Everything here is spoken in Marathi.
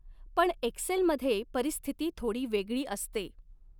पण एक्सेल मध्ये परिस्थिती थोडी वेगळी असते.